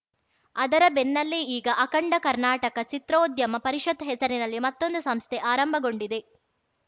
ಅದರ ಬೆನ್ನಲ್ಲೇ ಈಗ ಅಖಂಡ ಕರ್ನಾಟಕ ಚಿತ್ರೋದ್ಯಮ ಪರಿಷತ್‌ ಹೆಸರಿನಲ್ಲಿ ಮತ್ತೊಂದು ಸಂಸ್ಥೆ ಆರಂಭಗೊಂಡಿದೆ